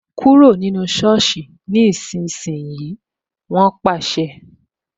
Kúrò ní soosi ni ìsinsìnyí "wọn pàṣẹ